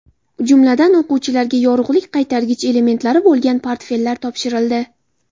Jumladan, o‘quvchilarga yorug‘lik qaytargich elementlari bo‘lgan portfellar topshirildi.